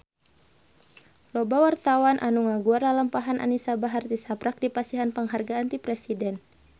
Loba wartawan anu ngaguar lalampahan Anisa Bahar tisaprak dipasihan panghargaan ti Presiden